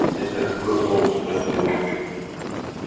это какой полк спросил он